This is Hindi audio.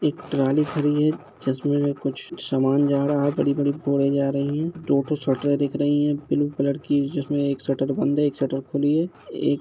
एक ट्रॉली खड़ी हैं जिसमे हमें कुछ सामान जा रहा है बड़ी-बडी बोड़े जा रही हैं दो ठो शटरे दिख रही हैं ब्लू कलर की जिसमे एक शटर बंद है एक शटर खुली हैं एक --